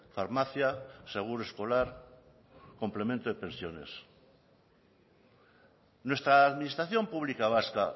farmacia seguro escolar complemento de pensiones nuestra administración pública vasca